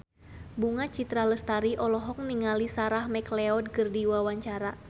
Bunga Citra Lestari olohok ningali Sarah McLeod keur diwawancara